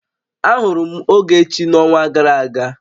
Ahụrụ m Ogechi n'ọnwa gara aga